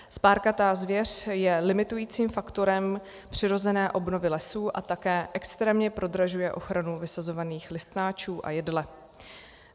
Spárkatá zvěř je limitujícím faktorem přirozené obnovy lesů a také extrémně prodražuje ochranu vysazovaných listnáčů a jedle.